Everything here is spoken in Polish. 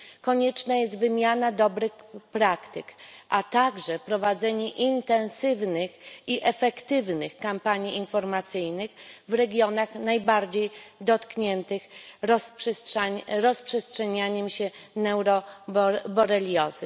Konieczna jest wymiana dobrych praktyk, a także prowadzenie intensywnych i efektywnych kampanii informacyjnych w regionach najbardziej dotkniętych rozprzestrzenianiem się neuroboreliozy.